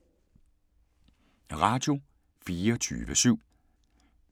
Radio24syv